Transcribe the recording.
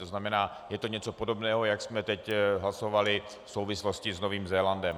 To znamená, je to něco podobného, jak jsme teď hlasovali v souvislosti s Novým Zélandem.